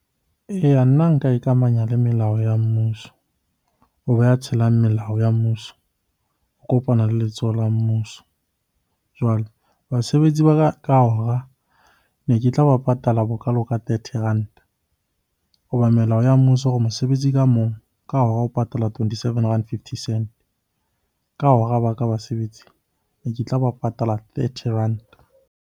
Eya, nna nka ikamahanya le melao ya mmuso. Hoba tshelang melao ya mmuso o kopana le letsoho la mmuso. Jwale basebetsi ba ka ka hora ne ke tla bapala patala bokalo ka thirty ranta. Hoba melao ya mmuso o re mosebetsi ka mong ka hora o patala twenty-seven rand fifty cent. Ka hora ba ka basebetsi, ne ke tlaba patala thirty ranta.